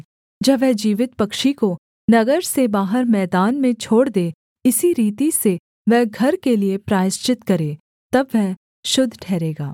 तब वह जीवित पक्षी को नगर से बाहर मैदान में छोड़ दे इसी रीति से वह घर के लिये प्रायश्चित करे तब वह शुद्ध ठहरेगा